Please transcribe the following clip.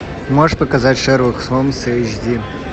можешь показать шерлок холмс эйч ди